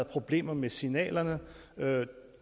problemer med signalerne